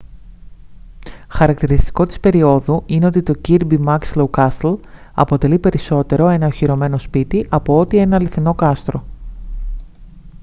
χαρακτηριστικό της περιόδου είναι το ότι το kirby muxloe castle αποτελεί περισσότερο ένα οχυρωμένο σπίτι απ' ότι ένα αληθινό κάστρο